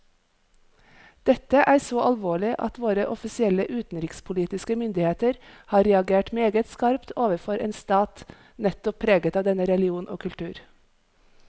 Dette er så alvorlig at våre offisielle utenrikspolitiske myndigheter har reagert meget skarpt overfor en stat nettopp preget av denne religion og kultur.